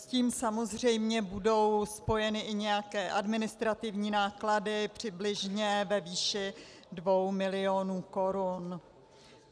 S tím samozřejmě budou spojeny i nějaké administrativní náklady přibližně ve výši 2 milionů korun.